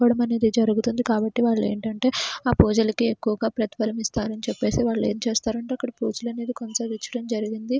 కోవడం అనేది జరుగుతుంది కాబట్టి వాళ్లు ఏంటంటే ఆ పూజలకి ఎక్కువగా ప్రతిఫలం ఇస్తారని చెప్పేసి వాళ్ళు ఏం చేస్తారంటే అక్కడ పూజలు అనేది కొనసాగించడం జరిగింది.